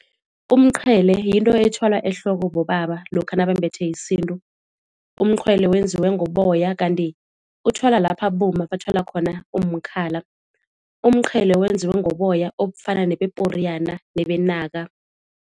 Umqhele yinto ethwala ehloko bobaba lokha nabambethe isintu. Umqhwele wenziwe ngoboya kanti uthwala lapha abomma bathwala khona umkhala. Umqhele wenziwe ngoboya obufana nebeporiyana nebenaka.